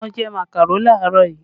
Mo jẹ màkàró làárọ̀ yìí